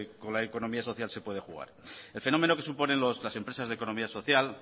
con la economía social se puede jugar el fenómeno que suponen las empresas de economía social